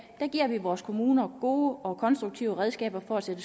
giver vi vores kommuner gode og konstruktive redskaber til at